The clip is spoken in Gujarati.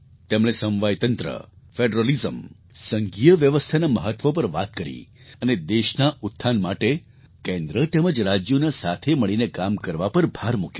તેમણે સમવાયતંત્ર ફૅડરલિઝમ સંઘીય વ્યવસ્થાના મહત્ત્વ પર વાત કરી અને દેશના ઉત્થાન માટે કેન્દ્ર તેમજ રાજ્યોના સાથે મળીને કામ કરવા પર ભાર મૂક્યો